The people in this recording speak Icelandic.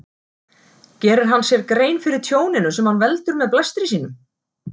Gerir hann sér grein fyrir tjóninu sem hann veldur með blæstri sínum?